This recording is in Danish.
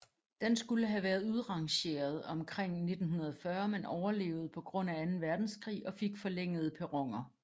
Den skulle have være udrangeret omkring 1940 men overlevede på grund af anden verdenskrig og fik forlængede perroner